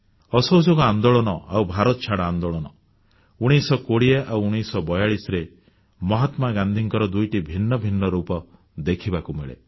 ଅସହଯୋଗ ଆନ୍ଦୋଳନ ଆଉ ଭାରତଛାଡ଼ ଆନ୍ଦୋଳନ 1920 ଆଉ 1942ରେ ମହାତ୍ମାଗାନ୍ଧୀଙ୍କର ଦୁଇଟି ଭିନ୍ନ ଭିନ୍ନ ରୂପ ଦେଖିବାକୁ ମିଳେ